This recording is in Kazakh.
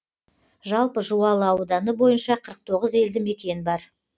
жалпы жуалы ауданы бойынша қырық тоғыз елді мекен бар